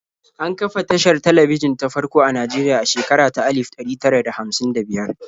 An kafa tashar talabijin ta farko a Najeriya a shekara ta alif ɗari tara da hamsin da biyar.